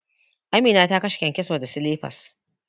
Amina ta kashe kyankyaso da silifas.